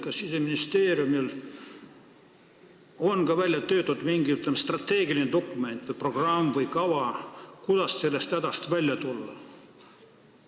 Kas Siseministeeriumil on välja töötatud mingi strateegiline dokument, programm või kava, kuidas sellest hädast välja tulla?